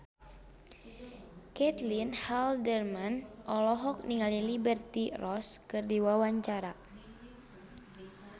Caitlin Halderman olohok ningali Liberty Ross keur diwawancara